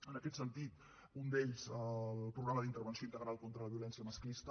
en aquest sentit un el programa d’intervenció integral contra la violència masclista